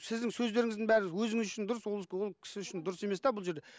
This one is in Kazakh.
сіздің сөздеріңіздің бәрі өзіңіз үшін дұрыс ол ол кісі үшін дұрыс емес те бұл жерде